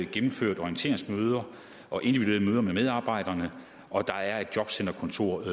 gennemført orienteringsmøder og individuelle møder med medarbejderne og der er et jobcenterkontor i